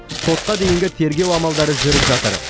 сотқа дейінгі тергеу амалдары жүріп жатыр